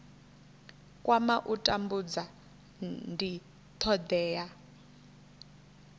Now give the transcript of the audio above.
kwama u tambudza ndi thodea